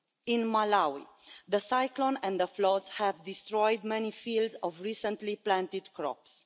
In Malawi, the cyclone and the floods have destroyed many fields of recently planted crops.